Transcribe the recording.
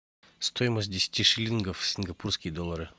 стоимость десяти шиллингов в сингапурские доллары